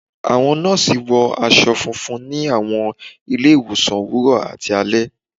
Àwọn nọ́ọ̀sí wọ aṣọ funfun ni àwọn ilé-ìwòsàn òwúrọ̀ àti alẹ́